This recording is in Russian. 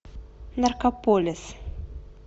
наркополис